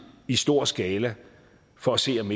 i stor skala for at se om